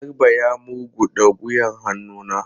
Garba ya murguda wuyan hannu na.